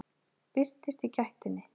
Birtist í gættinni.